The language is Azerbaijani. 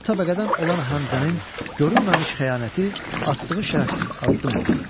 Qul təbəqədən olan Həmzənin görünməmiş xəyanəti, atdığı şərəfsiz addım olur.